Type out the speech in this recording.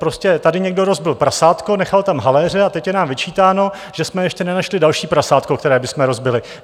Prostě tady někdo rozbil prasátko, nechal tam haléře, a teď je nám vyčítáno, že jsme ještě nenašli další prasátko, které bychom rozbili.